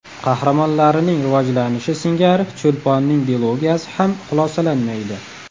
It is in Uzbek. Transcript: Qahramonlarining rivojlanishi singari Cho‘lponning dilogiyasi ham xulosalanmaydi.